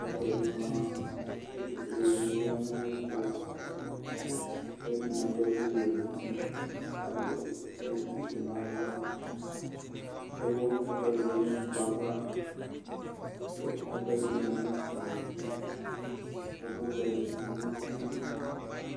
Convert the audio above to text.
ɛkplɔ di ma kʋ ɛtufue'alu ɛdini zanʋ ayiʋ ɛtuku ɛdini aɖʋ ɛkuwɛ nʋ utikʋ adʋ ɛkʋfue nʋ avakʋ ɛkʋ ɛdi yadʋ nʋ ɛkplɔyɛ' avakʋ ɛkʋ ɛdini manʋ atami'duɛkʋvɛ di tunʋ ugli